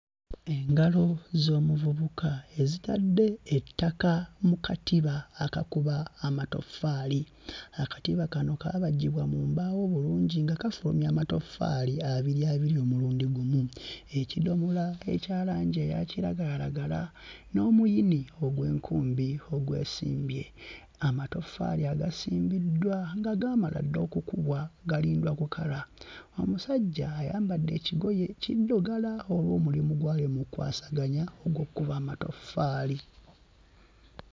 Engalo z'omuvubuka ezitadde ettaka mu katiba akakuba amatoffaali. Akatiba kano kaabajjibwa mu mbaawo bulungi nga kafulumya amatoffaali abiri abiri omulundi gumu. Ekidomola ekya langi eya kiragalalagala n'omuyini ogw'enkumbi ogwesimbye. Amatoffaali agasimbiddwa nga gaamala dda okukubwa galindwa kukala. Omusajja ayambadde ekigoye kiddugala olw'omulimu gw'ali mu kkwasaganya ogw'okukuba amatoffaali.